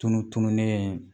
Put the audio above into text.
Tunutununen ye